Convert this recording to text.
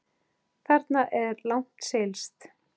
Þarna er langt seilst.